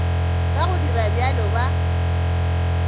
ka go dira bjalo ba